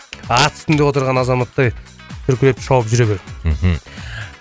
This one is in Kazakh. ат үстінде отырған азаматтай дүркіреп шауып жүре бер мхм